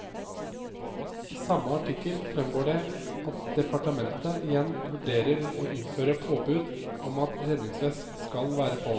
I samme artikkel fremgår det at departementet igjen vurderer å innføre påbud om at redningsvest skal være på.